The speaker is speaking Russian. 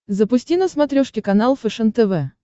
запусти на смотрешке канал фэшен тв